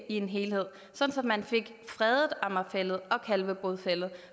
i en helhed sådan at man fik fredet amager fælled og kalvebod fælled